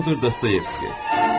Fyor Dostoyevski.